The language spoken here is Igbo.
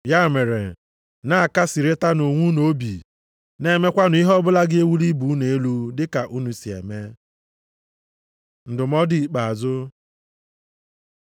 Ya mere, na-akasịrịtanụ onwe unu obi. Na-emekwanụ ihe ọbụla ga-ewuli ibe unu elu dị ka unu si eme. Ndụmọdụ ikpeazụ